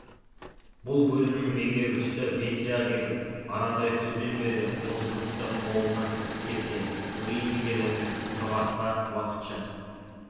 бұл бөлімнің меңгерушісі пенсияға кетіп аратай күзден бері осы жұмысты қолынан іс келсе көрейін деген оймен тұрғатқа уақытша